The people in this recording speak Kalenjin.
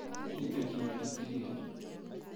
Miten cheko chetilileni?